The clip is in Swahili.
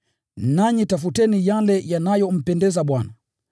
nanyi tafuteni yale yanayompendeza Bwana.